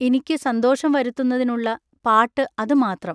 ഇനിക്കു സന്തോഷം വരുത്തുന്നതിനുള്ള പാട്ടു അതു മാത്രം.